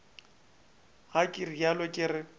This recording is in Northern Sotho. ga ke realo ke re